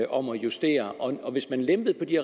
om at justere hvis man lempede på de